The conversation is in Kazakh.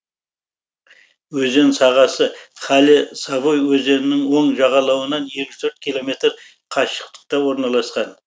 өзен сағасы хале савой өзенінің оң жағалауынан елу төрт километр қашықтықта орналасқан